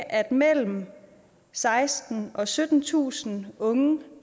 at mellem sekstentusind og syttentusind unge